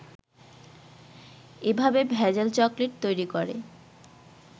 এভাবে ভেজাল চকলেট তৈরি করে